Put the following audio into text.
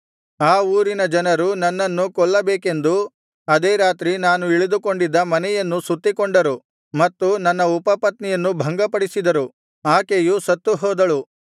ಆ ಊರಿನ ಜನರು ನನ್ನನ್ನು ಕೊಲ್ಲಬೇಕೆಂದು ಅದೇ ರಾತ್ರಿ ನಾನು ಇಳಿದುಕೊಂಡಿದ್ದ ಮನೆಯನ್ನು ಸುತ್ತಿಕೊಂಡರು ಮತ್ತು ನನ್ನ ಉಪಪತ್ನಿಯನ್ನು ಭಂಗಪಡಿಸಿದರು ಆಕೆಯು ಸತ್ತುಹೋದಳು